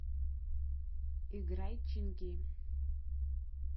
играй чинги